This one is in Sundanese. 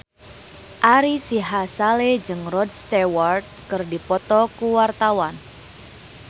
Ari Sihasale jeung Rod Stewart keur dipoto ku wartawan